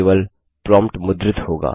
केवल प्रोम्प्ट मुद्रित होगा